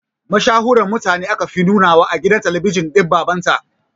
Mashahuran mutane aka fi nunawa a gidan talabijin din baban ta